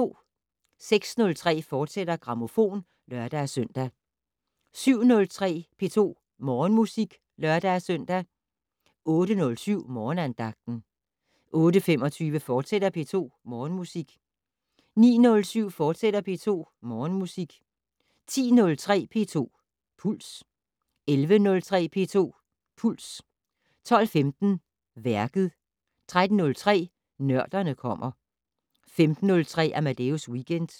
06:03: Grammofon, fortsat (lør-søn) 07:03: P2 Morgenmusik (lør-søn) 08:07: Morgenandagten 08:25: P2 Morgenmusik, fortsat 09:07: P2 Morgenmusik, fortsat 10:03: P2 Puls 11:03: P2 Puls 12:15: Værket 13:03: Nørderne kommer 15:03: Amadeus Weekend